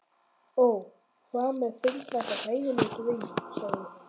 Ó, hvað mér finnst þetta hræðilegur draumur, sagði hún